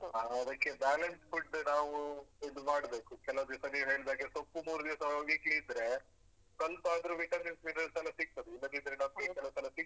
ನಾವ್ ಅದಕ್ಕೆ balance food ನಾವೂ ಇದು ಮಾಡ್ಬೇಕು ಕೆಲವ್ದಿವ್ಸ ನೀವ್ ಹೇಳ್ದಾಗೆ ಸೊಪ್ಪು ಮೂರ್ ದಿವ್ಸ weekly ಇದ್ರೇ ಸ್ವಲ್ಪಾದ್ರು vitamin minerals ಎಲ್ಲ ಸಿಕ್ತದೆ ಇಲ್ಲದಿದ್ರೆ ನಮ್ಗೆ ಕೆಲವ್ ಸಲ ಸಿಗುದಿಲ್ಲ.